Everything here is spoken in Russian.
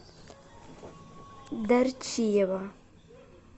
дарчиева